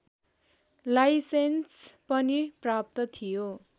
licence पनि प्राप्त थियो